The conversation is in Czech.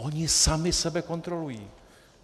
Oni sami sebe kontrolují.